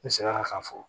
N seginna k'a fɔ